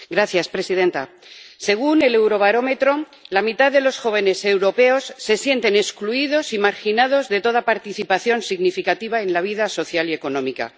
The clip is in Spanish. Señora presidenta, según el Eurobarómetro, la mitad de los jóvenes europeos se sienten excluidos y marginados de toda participación significativa en la vida social y económica.